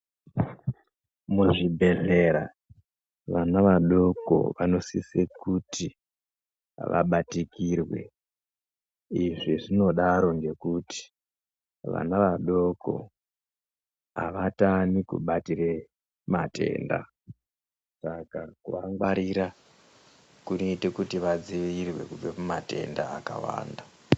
Muzvibhedhlera vana vadoko vanosise kuti vabatikirwe ,izvi zvinodaro ngekuti vana vadoko avatani kubatire matenda, saka kuvangwarira kunoyite kuti vadzivirirwe kubva kumatenda akawanda.